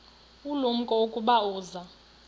ulumko ukuba uza